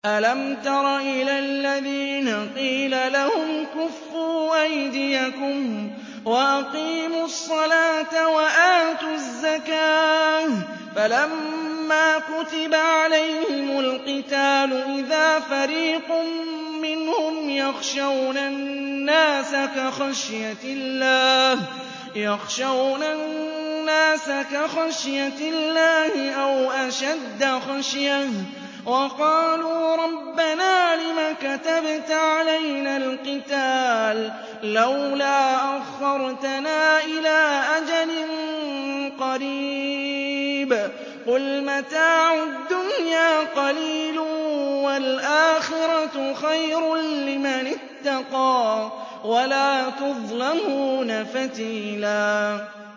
أَلَمْ تَرَ إِلَى الَّذِينَ قِيلَ لَهُمْ كُفُّوا أَيْدِيَكُمْ وَأَقِيمُوا الصَّلَاةَ وَآتُوا الزَّكَاةَ فَلَمَّا كُتِبَ عَلَيْهِمُ الْقِتَالُ إِذَا فَرِيقٌ مِّنْهُمْ يَخْشَوْنَ النَّاسَ كَخَشْيَةِ اللَّهِ أَوْ أَشَدَّ خَشْيَةً ۚ وَقَالُوا رَبَّنَا لِمَ كَتَبْتَ عَلَيْنَا الْقِتَالَ لَوْلَا أَخَّرْتَنَا إِلَىٰ أَجَلٍ قَرِيبٍ ۗ قُلْ مَتَاعُ الدُّنْيَا قَلِيلٌ وَالْآخِرَةُ خَيْرٌ لِّمَنِ اتَّقَىٰ وَلَا تُظْلَمُونَ فَتِيلًا